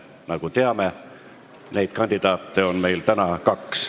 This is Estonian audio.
Nagu teame, on meil kandidaate täna kaks.